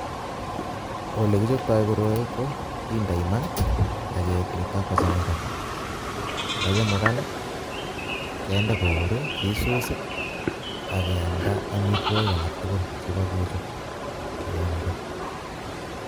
Olekichoptooi koroi ko kindoi maa ak kemetok ko chemugaan, ye chumugaan kindee kour I,kisuus ak keamdaa amitwogiik alak tugul chekokechop iamdee.